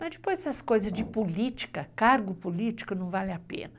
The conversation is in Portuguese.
Mas depois essas coisas de política, cargo político, não vale a pena.